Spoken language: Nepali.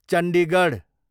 चण्डीगढ